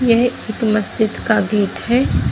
यह एक मस्जिद का गेट हैं।